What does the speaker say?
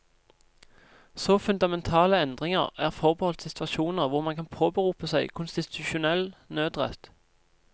Så fundamentale endringer er forbeholdt situasjoner hvor man kan påberope seg konstitusjonell nødrett.